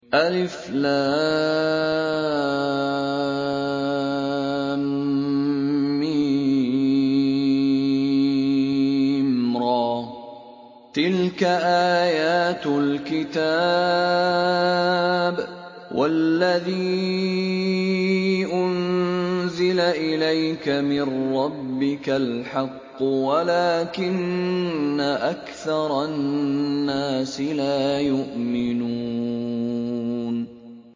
المر ۚ تِلْكَ آيَاتُ الْكِتَابِ ۗ وَالَّذِي أُنزِلَ إِلَيْكَ مِن رَّبِّكَ الْحَقُّ وَلَٰكِنَّ أَكْثَرَ النَّاسِ لَا يُؤْمِنُونَ